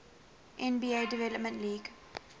nba development league